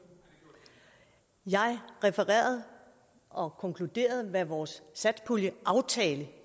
jeg refererede og konkluderede hvad vores satspuljeaftale